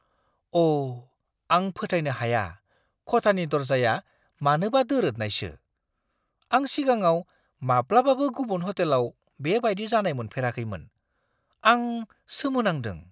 अ', आं फोथायनो हाया खथानि दर्जाया मानोबा दोरोदनायसो! आं सिगाङाव माब्लाबाबो गुबुन हटेलाव बेबायदि जानाय मोनफेराखैमोन। आं सोमो नांदों!